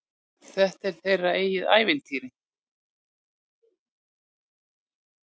Þetta er þeirra eigið ævintýr.